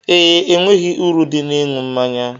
Ee, enweghị uru dị n'ịṅụ mmanya.